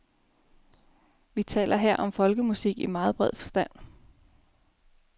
Vi taler her om folkemusik i meget bred forstand.